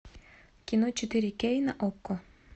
кино четыре кей на окко